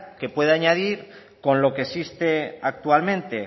que puede añadir con lo que existe actualmente